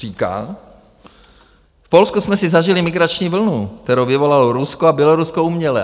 Říká: V Polsku jsme si zažili migrační vlnu, kterou vyvolalo Rusko a Bělorusko uměle.